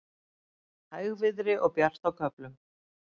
Hægviðri og bjart með köflum